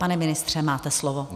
Pane ministře, máte slovo.